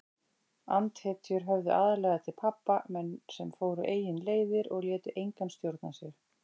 Andhetjur höfðuðu aðallega til pabba, menn sem fóru eigin leiðir og létu engan stjórna sér.